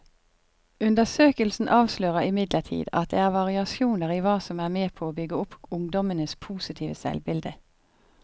Undersøkelsen avslører imidlertid at det er variasjoner i hva som er med på å bygge opp ungdommenes positive selvbilde.